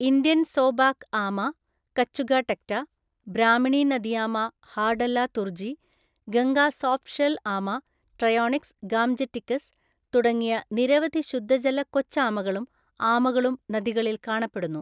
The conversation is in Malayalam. ഇന്ത്യൻ സോബാക്ക് ആമ (കച്ചുഗ ടെക്റ്റ), ബ്രാഹ്മിണി നദിയാമ (ഹാർഡെല്ല തുർജീ), ഗംഗാ സോഫ്റ്റ് ഷെൽ ആമ (ട്രയോണിക്സ് ഗാംജെറ്റിക്കസ് ) തുടങ്ങിയ നിരവധി ശുദ്ധജല കൊച്ചാമകളും ആമകളും നദികളിൽ കാണപ്പെടുന്നു.